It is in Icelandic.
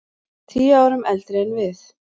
Tíu árum eldri en við.